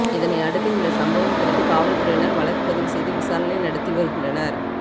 இதனையடுத்து இந்த சம்வம் குறித்து காவல்துறையினர் வழக்கு பதிவு செய்து விசாரணை நடத்தி வருகின்றனர்